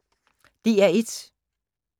DR1